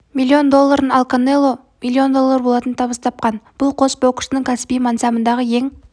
миллион долларын ал канело миллион доллары болатын табыс тапқан бұл қос боксшының кәсіби мансабындағы ең